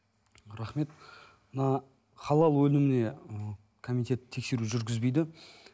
рахмет мына халал өніміне ы комитет тексеру жүргізбейді